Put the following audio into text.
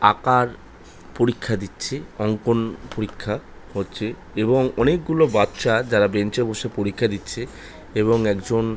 আকার পরীক্ষা দিচ্ছে। অঙ্কন পরীক্ষা হচ্ছে। এবং অনেক গুলো বাচ্চা যারা বেঞ্চ এ বসে পরীক্ষা দিচ্ছে। এবং একজন--